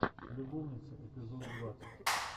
любовницы эпизод двадцать